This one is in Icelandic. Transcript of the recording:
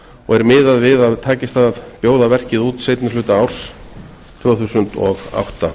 og er miðað við að takist að bjóða verkið út seinni hluta árs tvö þúsund og átta